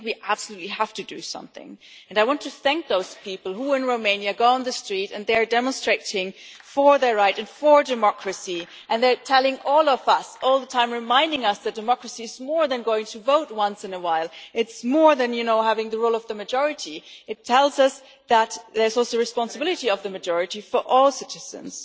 I think we absolutely have to do something, and I want to thank those people in Romania who go out on the street and demonstrate for their rights, for democracy, and are telling all of us, all the time reminding us, that democracy is more than going to vote once in a while, it is more than having the rule of the majority. It tells us that there is also the responsibility of the majority for all citizens.